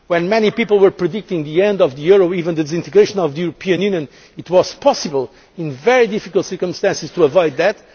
Union. When many people were predicting the end of the euro, even the disintegration of the European Union, it was possible, in very difficult circumstances, to